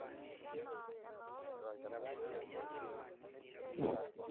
ore enkiremore oonkineji ekule naa kigira aaku yioloti